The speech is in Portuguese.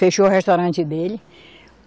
Fechou o restaurante dele.